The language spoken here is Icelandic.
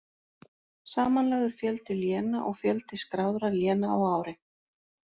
Samanlagður fjöldi léna og fjöldi skráðra léna á ári.